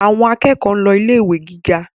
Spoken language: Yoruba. Àwọn akẹ́kọ̀ọ́ ń lọ ilé ìwé gíga